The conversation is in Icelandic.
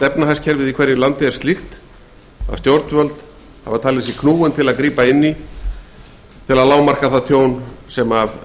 efnahagskerfið í hverju landi er slíkt að stjórnvöld verða að grípa inn í og lágmarka það tjón sem